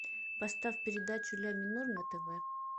поставь передачу ля минор на тв